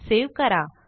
save करा